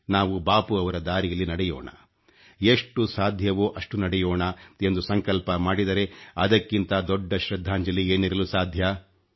ನಾವು ಬಾಪೂರವರ ದಾರಿಯಲ್ಲಿ ನಡೆಯೋಣ ಎಷ್ಟು ಸಾಧ್ಯವೋ ಅಷ್ಟು ನಡೆಯೋಣ ಎಂದು ಸಂಕಲ್ಪ ಮಾಡಿದರೆ ಅದಕ್ಕಿಂತ ದೊಡ್ಡ ಶ್ರದ್ಧಾಂಜಲಿ ಏನಿರಲು ಸಾಧ್ಯ